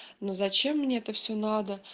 но зачем мне это все надо